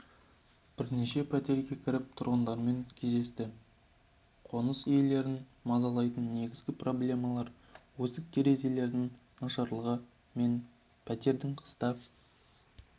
бірнеше пәтерге кіріп тұрғындармен кездесті қоныс иелерін мазалайтын негізгі проблемалар есік-терезелердің нашарлығы мен пәтердің қыста